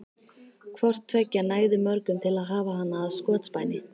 Hvort tveggja nægði mörgum til að hafa hana að skotspæni.